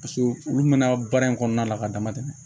Paseke olu mɛna baara in kɔnɔna la ka dama tɛmɛ